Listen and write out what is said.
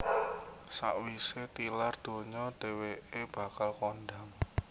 Sawisé tilar donya dhèwèké bakal kondhang